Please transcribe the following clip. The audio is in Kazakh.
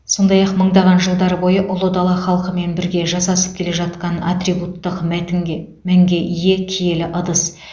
сондай ақ мыңдаған жылдар бойы ұлы дала халқымен бірге жасасып келе жатқан атрибуттық мәтінге мәнге ие киелі ыдыс